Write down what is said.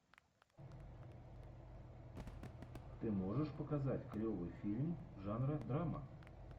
ты можешь показать клевый фильм жанра драма